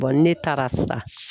ni ne taara sisan